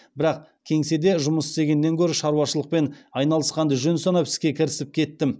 бірақ кеңседе жұмыс істегеннен гөрі шаруашылықпен айналысқанды жөн санап іске кірісіп кеттім